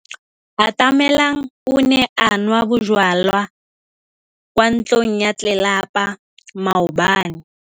Atamelang o ne a nwa bojwala kwa ntlong ya tlelapa maobane.